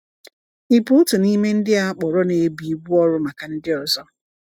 Ị bụ otu n'ime ndị a kpọrọ na-ebu ibu ọrụ maka ndị ọzọ?